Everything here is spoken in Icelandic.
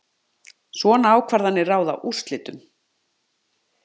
Svona ákvarðanir ráða úrslitum